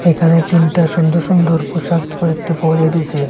এখানে তিনটা সুন্দর সুন্দর পোশাক পাওয়া যাইতেছে।